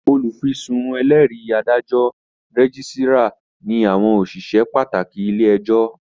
Olùfisùn, ẹlẹ́rìí, adájọ́, rẹ́gísírà ní àwọn òṣìṣẹ́ pàtàkì ilé-ẹjọ́